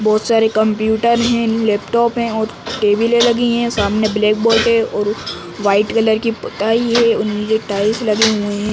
बहोत सारे कंप्यूटर हैं लैपटॉप हैं और टेबिलें लगी हुई हैं। सामने ब्लैक बोर्ड है और उस वाइट कलर की पोताई है और नीचे टाईल्स लगे हुए हैं।